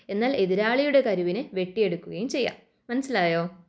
എന്നാൽ ഇത് ഒരാളുടെ കരുവിനെ വെട്ടി എടുക്കുകയും ചെയ്യാം. മനസ്സിലായോ?